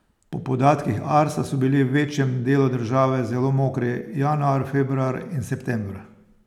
Po podatkih Arsa so bili v večjem delu države zelo mokri januar, februar in september.